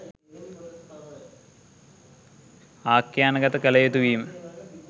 ආඛ්‍යානගත කළ යුතු වීම.